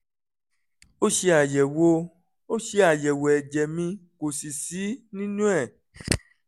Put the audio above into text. ó ṣe àyẹ̀wò ó ṣe àyẹ̀wò ẹ̀jẹ̀ mi kò sì sí nínú ẹ̀